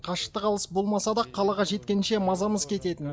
қашықтық алыс болмаса да қалаға жеткенше мазамыз кететін